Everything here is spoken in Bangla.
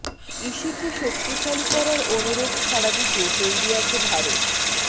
ইসিকে শক্তিশালী করার অনুরোধ সাড়া দিতে তৈরি আছে ভারত